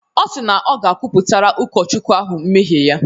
Ọ si na ọ ga-kwupụtara Ụkọchukwu ahụ mmehie ya.